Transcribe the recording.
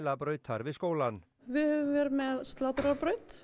matvælabrautar við skólann við höfum verið með